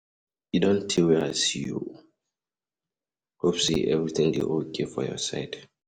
E don tey wey I see you, hope say everything dey okay for your side?